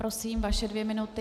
Prosím, vaše dvě minuty.